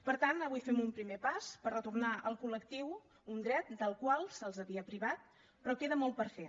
per tant avui fem un primer pas per retornar al col·lectiu un dret del qual se’ls havia privat però queda molt per fer